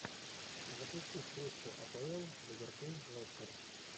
запусти встречу апл ливерпуль лестер